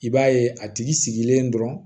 I b'a ye a tigi sigilen dɔrɔn